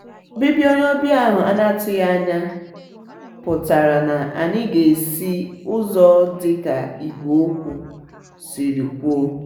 òbibia onye òbia ahú ana atúghianya pútara na anyi ga esi úzò dika igwe okwu siri kwuo.